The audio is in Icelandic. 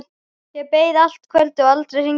Ég beið allt kvöldið og aldrei hringdi síminn.